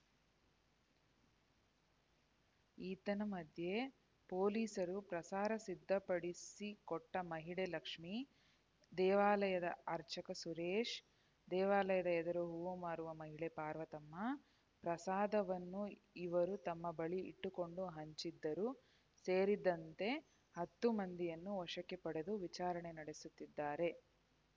ಏತನ್ಮಧ್ಯೆ ಪೊಲೀಸರು ಪ್ರಸಾರ ಸಿದ್ಧಪಡಿಸಿಕೊಟ್ಟಮಹಿಳೆ ಲಕ್ಷ್ಮಿ ದೇವಾಲಯದ ಅರ್ಚಕ ಸುರೇಶ್‌ ದೇವಾಲಯದ ಎದುರು ಹೂವು ಮಾರುವ ಮಹಿಳೆ ಪಾರ್ವತಮ್ಮ ಪ್ರಸಾದವನ್ನು ಇವರು ತಮ್ಮ ಬಳಿ ಇಟ್ಟುಕೊಂಡು ಹಂಚಿದ್ದರು ಸೇರಿದಂತೆ ಹತ್ತು ಮಂದಿಯನ್ನು ವಶಕ್ಕೆ ಪಡೆದು ವಿಚಾರಣೆ ನಡೆಸುತ್ತಿದ್ದಾರೆ